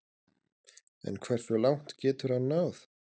En hversu langt getur hann náð?